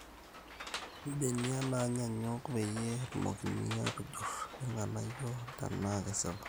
M,benia naanyanyuk peyie etumokini atujur irnganayio tenaa kesipa